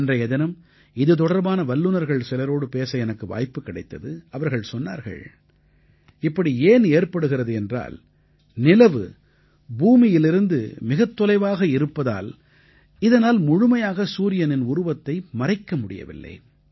அன்றைய தினம் இது தொடர்பான வல்லுனர்கள் சிலரோடு பேச எனக்கு வாய்ப்பு கிடைத்தது அவர்கள் சொன்னார்கள் இப்படி ஏன் ஏற்படுகிறது என்றால் நிலவு பூமியிலிருந்து மிகத் தொலைவாக இருப்பதால் இதனால் முழுமையாக சூரியனின் உருவத்தை மறைக்க முடியவில்லை